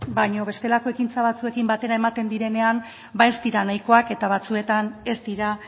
baina bestelako ekintza batzuekin batera ematen direnean ba ez dira nahikoak eta batzuetan ez dira